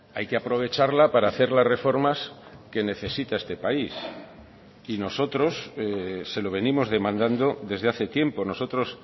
hay que aprovecharla para hacer las reformas que necesita este país y nosotros se lo venimos demandando desde hace tiempo nosotros